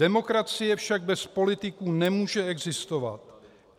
Demokracie však bez politiků nemůže existovat.